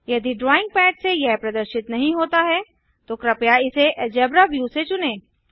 यदि drawing pad से यह प्रदर्शित नहीं होता है तो कृपया इसे अलजेब्रा व्यू से चुनें